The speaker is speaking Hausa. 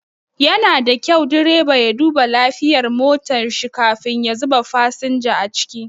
Yana da kyau direba ya duba lafiyar motar shi kafin ya zuba fasinja a ciki.